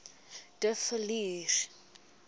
de villiers